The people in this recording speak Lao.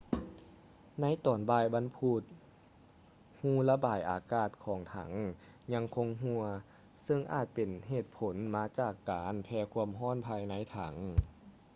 ໃນຕອນບ່າຍວັນພຸດ ຮູລະບາຍອາກາດຂອງຖັງຍັງຄົງຮົ່ວ ເຊິ່ງອາດເປັນຜົນມາຈາກການແຜ່ຄວາມຮ້ອນພາຍໃນຖັງ